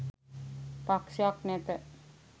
පක්‍ෂයක් නැත